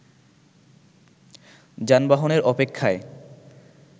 যানবাহনের অপেক্ষায়